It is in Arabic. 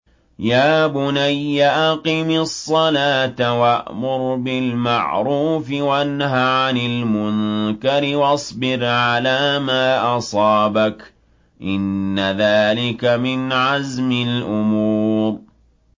يَا بُنَيَّ أَقِمِ الصَّلَاةَ وَأْمُرْ بِالْمَعْرُوفِ وَانْهَ عَنِ الْمُنكَرِ وَاصْبِرْ عَلَىٰ مَا أَصَابَكَ ۖ إِنَّ ذَٰلِكَ مِنْ عَزْمِ الْأُمُورِ